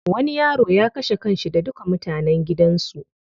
Wani yaro ya kashe kanshi da duka mutanen gidan su.